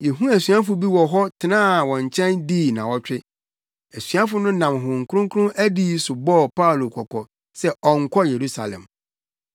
Yehuu asuafo bi wɔ hɔ tenaa wɔn nkyɛn dii nnaawɔtwe. Asuafo no nam Honhom Kronkron adiyi so bɔɔ Paulo kɔkɔ sɛ ɔnkɔ Yerusalem.